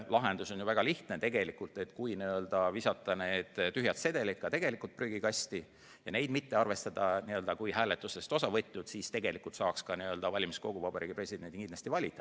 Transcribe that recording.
Lahendus on ju väga lihtne: kui visata tühjad sedelid prügikasti ja neid mitte arvestada hääletusest osa võtnutena, siis saaks ka valimiskogu Vabariigi Presidendi kindlasti valitud.